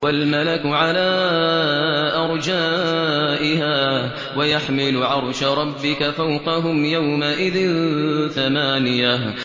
وَالْمَلَكُ عَلَىٰ أَرْجَائِهَا ۚ وَيَحْمِلُ عَرْشَ رَبِّكَ فَوْقَهُمْ يَوْمَئِذٍ ثَمَانِيَةٌ